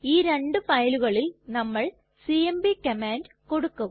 ഈ രണ്ടു ഫയലുകളിൽ നമ്മൾ സിഎംപി കമാൻഡ് കൊടുക്കും